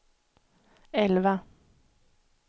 elva